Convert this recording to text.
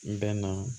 N bɛnna